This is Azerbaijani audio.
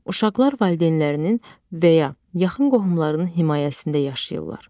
Uşaqlar valideynlərinin və ya yaxın qohumlarının himayəsində yaşayırlar.